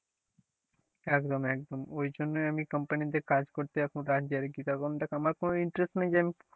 একদম একদম ওই জন্যই আমি company তে কাজ করতে এত রাত জাগি তার কারণটা আমার কোন interest নাই যে আমি,